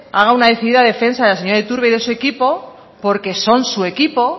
haga una decidida defensa de la señora iturbe y de su equipo porque son su equipo